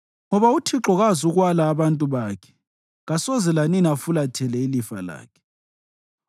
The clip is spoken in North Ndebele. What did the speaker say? Ngoba uThixo kazukwala abantu bakhe; kasoze lanini afulathele ilifa lakhe.